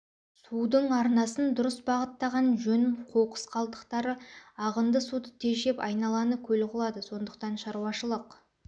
судың арнасын дұрыс бағыттаған жөн қоқыс қалдықтары ағынды суды тежеп айналаны көл қылады сондықтан шаруашылық